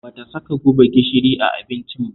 Ba ta saka guba gishiri a abincin ba